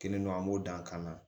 Kelen don an b'o dan kana